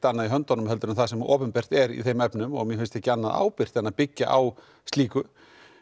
annað í höndunum en það sem opinbert er í þeim efnum og mér finnst ekki annað ábyrgt en að byggja á slíku